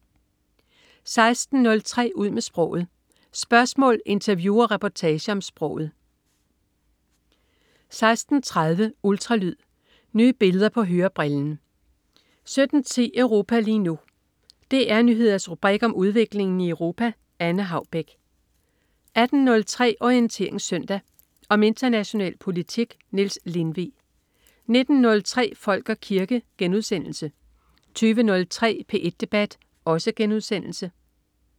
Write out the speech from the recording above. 16.03 Ud med sproget. Spørgsmål, interview og reportager om sproget 16.30 Ultralyd. Nye billeder på hørebrillen 17.10 Europa lige nu. DR Nyheders rubrik om udviklingen i Europa. Anne Haubek 18.03 Orientering Søndag. Om international politik. Niels Lindvig 19.03 Folk og kirke* 20.03 P1 debat*